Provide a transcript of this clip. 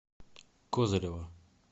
козырева